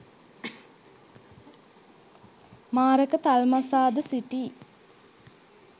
මාරක තල්මසා ද සිටියි.